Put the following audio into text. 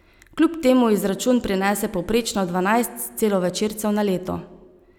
Kljub temu izračun prinese povprečno dvanajst celovečercev na leto.